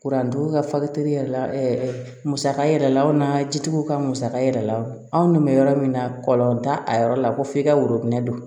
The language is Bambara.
Kurandon ka fali teriyala musaka yɛrɛ la aw n'a jitigiw ka musaka yɛrɛ la anw ni bɛ yɔrɔ min na kɔlɔn t'a a yɔrɔ la ko f'i ka worobinɛ don